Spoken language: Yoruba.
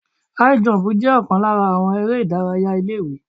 High jump jẹ́ ọ̀kan lára àwọn eré ìdárayá ilé ìwé.